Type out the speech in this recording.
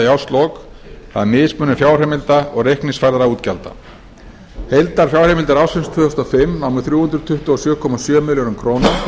í árslok það er mismunur fjárheimilda og reikningsfærðra útgjalda heildarfjárheimildir ársins tvö þúsund og fimm námu þrjú hundruð tuttugu og sjö komma sjö milljörðum króna